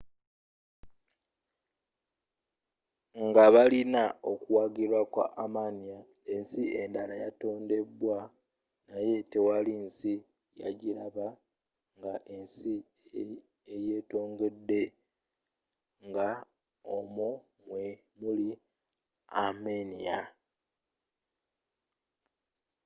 nga balina okuwagirwa kwa armenia ensi endala yatondebwa naye tewali nsi yagiraba nga ensi eyetongodde nga omwo mwe muli armenia